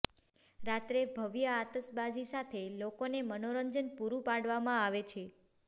રાત્રે ભવ્ય આતશબાજી સાથે લોકોને મનોરંજન પૂરૂ પાડવામાં આવે છે